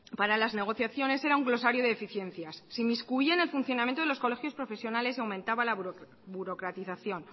para las negociaciones era un glosario de eficiencias se inmiscuía en el funcionamiento de los colegios profesionales y aumentaba la burocratización